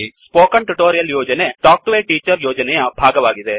spoken tutorial ಯೋಜನೆ talk to a teacher ಯೋಜನೆಯ ಭಾಗವಾಗಿದೆ